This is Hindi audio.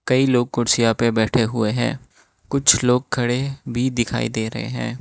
कई लोग कुर्सियां पे बैठे हुए हैं कुछ लोग खड़े भी दिखाई दे रहे हैं।